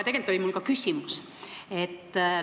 Tegelikult oli mul ka küsimus.